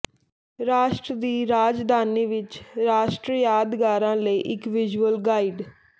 ਰਾਸ਼ਟਰ ਦੀ ਰਾਜਧਾਨੀ ਵਿਚ ਰਾਸ਼ਟਰੀ ਯਾਦਗਾਰਾਂ ਲਈ ਇੱਕ ਵਿਜ਼ੂਅਲ ਗਾਈਡ